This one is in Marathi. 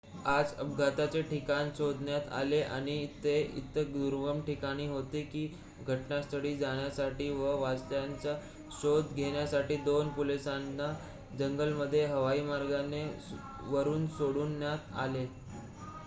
आज अपघाताचे ठिकाण शोधण्यात आले आणि ते इतके दुर्गम ठिकाणी होते की घटनास्थळी जाण्यासाठी व वाचलेल्यांचा शोध घेण्यासाठी 2 पोलिसांना जंगलामध्ये हवाईमार्गाने वरून सोडण्यात आले